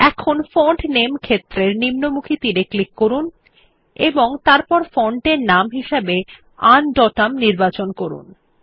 এখন ফন্ট নামে ক্ষেত্রের নিম্নমুখী তীর এ ক্লিক করুন এবং তারপর ফন্টের নাম হিসাবে আনডোটাম নির্বাচন করুন